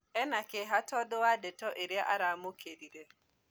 Ĩna kĩeha tondu wa ndeto iria aramũkĩrire